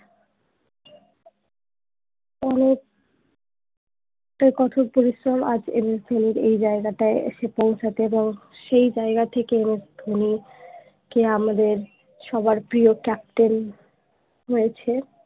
অনেক কঠোর পরিশ্রমে আজ MS ধোনির এই জায়গাটায় এসে পৌঁছেছেন এবং সেই জায়গা থেকেই MS ধোনি কে আমাদের সবার প্রিয় ক্যাপ্টেন হয়েছে